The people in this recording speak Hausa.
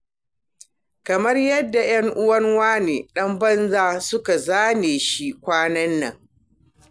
Kamar yadda 'yan'uwan wani ɗan banza suka zane shi kwanan nan.